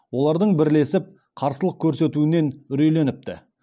олардың бірлесіп қарсылық көрсетуінен үрейленіпті